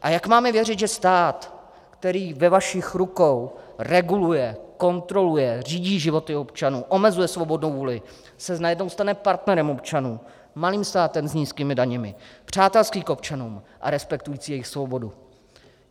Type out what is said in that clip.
A jak máme věřit, že stát, který ve vašich rukou reguluje, kontroluje, řídí životy občanů, omezuje svobodnou vůli, se najednou stane partnerem občanů, malým státem s nízkými daněmi, přátelský k občanům a respektující jejich svobodu?